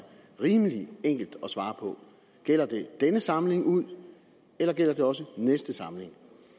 rimelig enkelt at svare på gælder det denne samling ud eller gælder det også næste samling